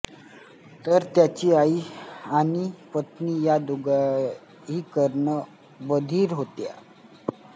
तर त्यांची आई आणि पत्नी या दोघीही कर्ण बधिर होत्या